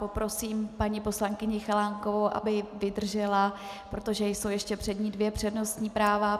Poprosím paní poslankyni Chalánkovou, aby vydržela, protože jsou ještě před ní dvě přednostní práva.